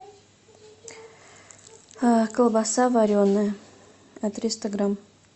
колбаса вареная триста грамм